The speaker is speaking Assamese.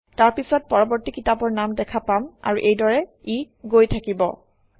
তাৰপিছত পৰৱৰ্তী কিতাপৰ নাম দেখা পাম আৰু এইদৰে ই গৈ থাকিব